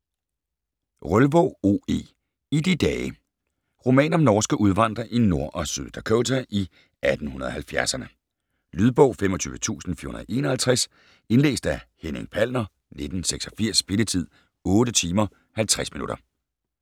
Rølvaag, O. E.: I de dage - Roman om norske udvandrere i Nord- og Syd Dakota i 1870'erne. Lydbog 25451 Indlæst af Henning Palner, 1986. Spilletid: 8 timer, 50 minutter.